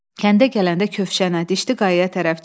Kəndə gələndə Kövşənə, Dişli Qayaya tərəf çıx.